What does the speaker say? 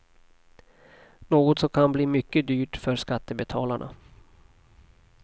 Något som kan bli mycket dyrt för skattebetalarna.